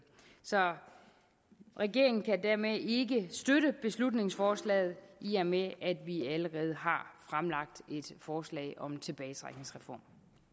så regeringen kan dermed ikke støtte beslutningsforslaget i og med at vi allerede har fremlagt et forslag om en tilbagetrækningsreform